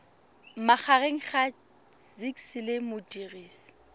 magareng ga gcis le modirisi